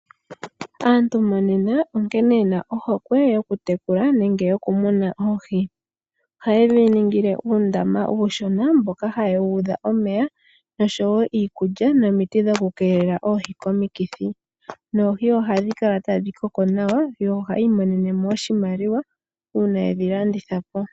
Aantu monena onkene ye na ohokwe yoku tekula nenge yoku muna oohi. Oha ye dhi ningile uundama uushona mboka ha ye wuudha omeya nosho woo iikulya nomiti dhoku keelela oohi komikithi. Noohi ohadhi kala tadhi koko nawa, yo ohaa imonenemo oshimaliwa uuna yedhi landithapo.